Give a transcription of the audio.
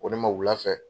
Ko ne ma wulafɛ